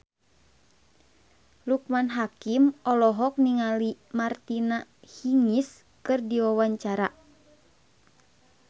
Loekman Hakim olohok ningali Martina Hingis keur diwawancara